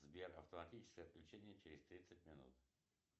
сбер автоматическое отключение через тридцать минут